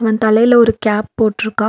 இவன் தலையில ஒரு கேப் போட்டுருக்கா.